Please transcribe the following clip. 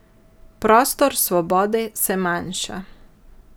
Prostor svobode se manjša.